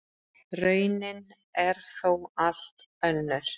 Raunin er þó allt önnur.